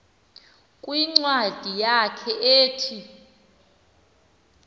kwincwadi yakhe ethi